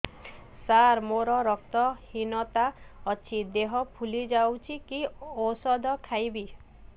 ସାର ମୋର ରକ୍ତ ହିନତା ଅଛି ଦେହ ଫୁଲି ଯାଉଛି କି ଓଷଦ ଖାଇବି